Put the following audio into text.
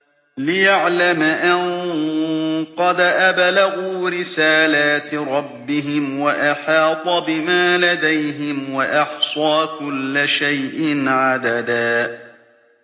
لِّيَعْلَمَ أَن قَدْ أَبْلَغُوا رِسَالَاتِ رَبِّهِمْ وَأَحَاطَ بِمَا لَدَيْهِمْ وَأَحْصَىٰ كُلَّ شَيْءٍ عَدَدًا